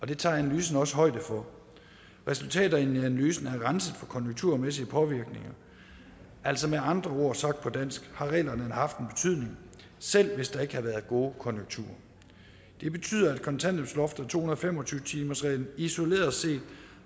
det tager analysen også højde for resultaterne i analysen er renset for konjunkturmæssige påvirkninger altså med andre ord og sagt på dansk har reglerne haft en betydning selv hvis der ikke havde været gode konjunkturer det betyder at kontanthjælpsloftet og to hundrede og fem og tyve timersreglen isoleret set